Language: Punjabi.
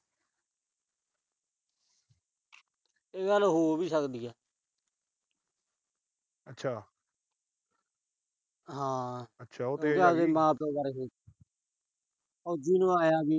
ਇਹ ਗੱਲ ਹੋ ਵੀ ਸਕਦੀ ਆ। ਹਾਂ। ਆਪਦੇ ਮਾਂ-ਪਿਉ ਬਾਰੇ ਸੋਚੇ। ਫੌਜੀ ਨੂੰ ਆਏ ਆ ਵੀ